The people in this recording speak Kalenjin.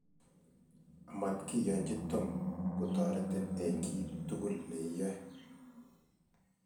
amatkiyonchi Tom kotoretin eng kiy tugul neiyoe